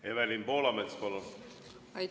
Evelin Poolamets, palun!